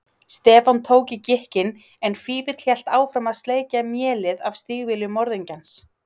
Stefán tók í gikkinn en Fífill hélt áfram að sleikja mélið af stígvélum morðingjans.